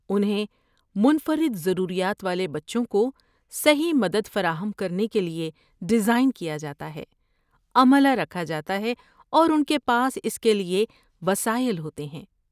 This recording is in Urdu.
انہیں منفرد ضروریات والے بچوں کو صحیح مدد فراہم کرنے کے لیے ڈیزائن کیا جاتا ہے، عملہ رکھا جاتا ہے اور ان کے پاس اس کے لیے وسائل ہوتے ہیں۔